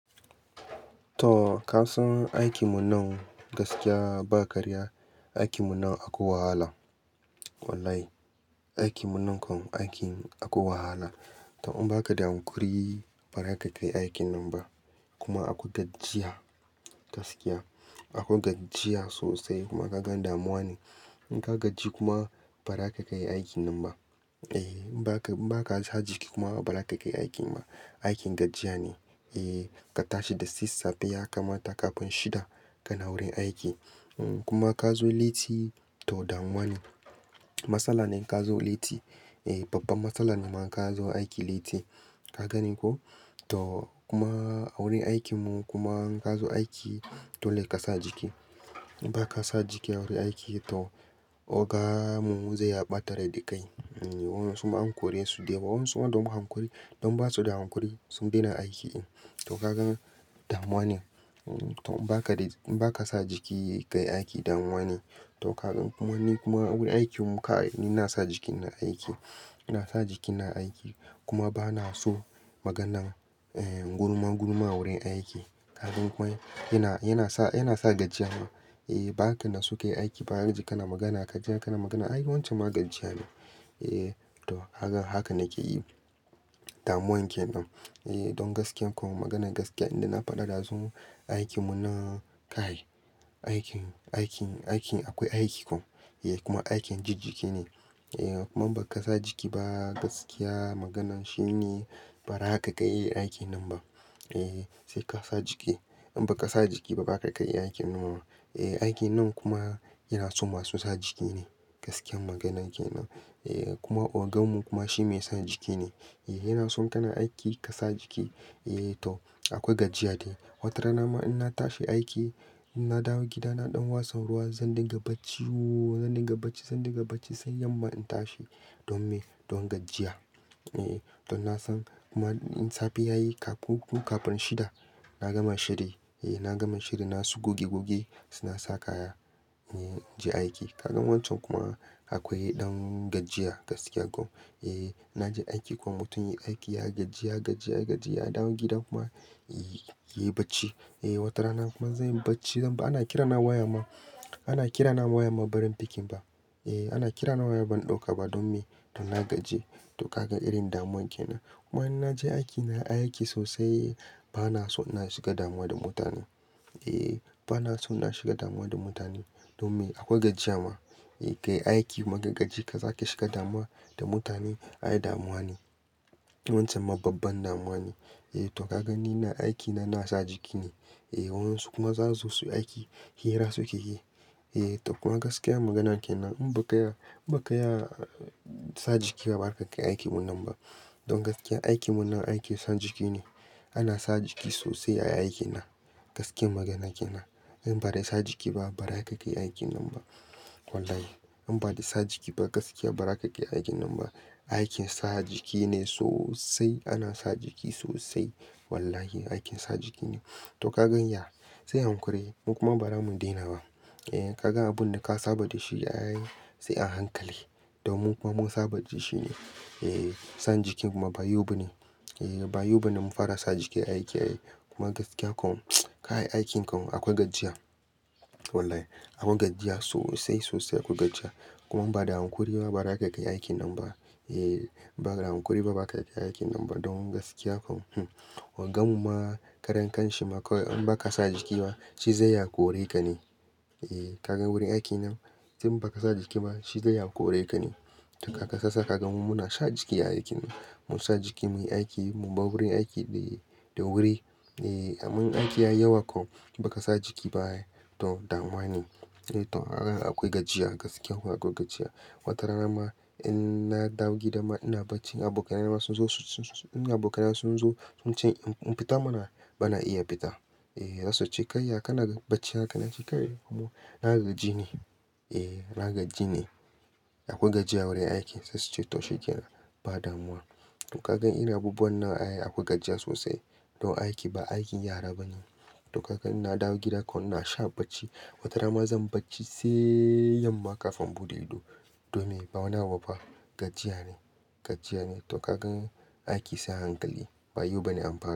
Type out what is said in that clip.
To ka san aikin mu nan gaskiya ba karya, aikin mu nan akwai wahala. Wallahi, aikin mu nan kan akwai wahala. To in baka da hankuri, ba za ka kai aikin nan ba. Kuma akwai gajjiya gaskiya. Akwai gajjiya sosai kuma kaga damuwa ne. In ka gaji kuma ba za ka kai aikin nan ba. Eh in ba ka, in ba ka sa jiki kuma ba za ka kai aikin ba. Aikin gajjiya ne. Eh ka tashi da sassafe ya kamata kafin shida ka na wurin aiki. Kuma ka zo leti to damuwa ne. Matsala ne in ka zo leti. Eh babban matsala ne man ka zo aiki leti. Ka ganin ko? To kuma a wurin aikin mu kuma in ka zo aiki dole ka sa jiki. In ba ka sa jiki a wurin aiki to oga mu zai ɓatar da kai. Wayansu ma a kore su dai ba wan suna don ba su da hankuri sun daina aiki in. To kaga damuwa ne. To in ba ka sa jiki kai aiki damuwa ne. To kaga kuma ni kuma wurin aikin mu ka ni ina sa jiki ina aiki. Na sa jikina aiki kuma ba na so maganan gurma gurma wurin aiki. Ka gan ko? Yana, yana sa, yana sa gajjiya ma. Eh ba ka na su kai aiki ba har jiya kana magana, ka je kana magana. Ai wancan ma gajjiya ne. Eh to hakan, hakan nake yi. Damuwan ke nan. Eh don gaskiya kuma maganan gaskiya inda na faɗi dazu. Aikin mu nan ka. Aikin, aikin, aikin akwai aiki kom. Eh kuma aikin jiji jiji ne. Eh kuma in ba ka sa jiki ba gaskiya maganan shine ba ra ka kai aikin nan ba. Eh sai ka sa jiki. In ba ka sa jiki ba ba za ka kai aikin nan ba. Eh aikin nan kuma yana so masu sa jiki ne. Gaskiya maganan ke nan. Eh kuma ogan mu kuma shi mai sa jiki ne. Eh yana so kana aiki ka sa jiki. Eh to akwai gajjiya dai. Wata rana ma in na tashi aiki, in na dawo gida na ɗan watsa ruwa zan dinga bacci ooo zan dinga bacci, zan dinga bacci sai yamma in tashi. Don me? Don gajjiya. Eh don na san kuma in safe yayi kafun ko kafin shida, na gama shiri. Eh na gama shiri na su goge goge suna sa kaya. Eh na je aiki. Ka gan wancan kuma akwai ɗan gajjiya gaskiya kom. Eh na je aiki kuma mutum ya yi aiki, ya gaji, ya gaji, ya gaji ya dawo gida kuma ya yi bacci. Eh wata rana kuma zai yi bacci. Zan ba-- ana kira na waya ma. Ana kira na waya ma barin picking ba. Eh ana kira na waya ban ɗauka ba. Don me? Don na gaji. To ka gan irin damuwan ke nan. Wa in na je aiki, na yi aiki sosai. Ba na so na shiga damuwa da mutane. Eh ba na so na shiga dama da mutane. Don me? Akwai gajjiya ma. Eh ka yi aiki magajiji ka za ka shiga dama da mutane. Ai damuwa ne. Wancan ma babban damuwa ne. Eh to ka gan ni na aiki na na sa jiki ne. Eh wan su kuma za su zo su yi aiki, hira su keyi. Eh to kuma gaskiya maganan ke nan. In ba ka iya, ba ka iya sa jiki ba ba za ka kai aikin nan ba. Don gaskiya aikin mu nan aiki san jiki ne. Ana sa jiki sosai a aikin nan. Gaskiyan maganan ke nan. In ba dai sa jiki ba ba za ka kai aikin nan ba. Wallahi in ba dai sa jiki ba gaskiya ba za ka kai aikin nan ba. Aikin sa jiki ne sosai. Ana sa jiki sosai. Wallahi aikin sa jiki ne. To ka gan ya? Sai hankuri. Mu kuma ba mu daina ba. Eh ka gan abun da ka saba da shi ai sai an hankali. Don mu kuma mun saba da shi shi ne. Eh san jiki ma ba yau ba ne. Eh ba yau ba na mun fara sa jiki aiki ai. Kuma gaskiya kom kai aikinka kom akwai gajjiya. Wallahi akwai gajjiya sosai sosai akwai gajjiya. Kuma ba da hankuri ba ba za ka kai aikin nan ba. Eh ba da hankuri ba ba za ka kai aikin nan ba don gaskiya kom. Ogan mu ma karen kan shi ma kawai in ba ka sa jiki ba shi zai ya kore ka ne. Eh ka gan wurin aiki nan in ba ka sa jiki ba shi zai ya kore ka ne. To ka kasasa ka gan mu muna sa jiki aiki. Mu sa jiki muyi aiki mu bar wurin aiki dai da wuri. Eh aman aiki ya yawa kom ba ka sa jiki ba ai to damuwa ne. Eh to hakan akwai gajiya gaskiya kuma akwai gajiya. Wata rana ma in na dawo gida ma ina bacci. Abokaina ma sun zo su, su, su, abokaina sun zo sun ce in fita muna ba na iya fita. Eh za su ce, "kai ya kana bacci hakan nace kai na gaji ne. Eh na gaji ne. Akwai gajiya wurin aiki sai su ce to shikenan ba damuwa. To ka ga irin abubuwan ai akwai gajiya sosai. Don aiki ba aikin yara ba ne. To ka gan ina dawo gida kom na sha bacci. Wata rana ma zan bacci sai yamma kafin bude ido. Don me? Ba wani abu ba. Gajiya ne, gajiya ne. To ka gan aiki sai a hankali. Ba yau ba ne an fa.